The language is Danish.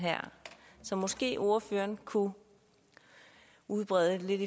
så måske ordføreren kunne udbrede lidt